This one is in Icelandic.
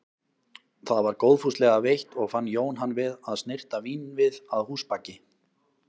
Það var góðfúslega veitt og fann Jón hann við að snyrta vínvið að húsabaki.